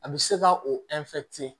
A bɛ se ka o